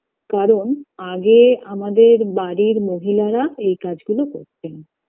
কারণ আগে আমাদের বাড়ির মহিলারা এই কাজ গুলো করতেন